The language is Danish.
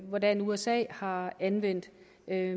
hvordan usa har anvendt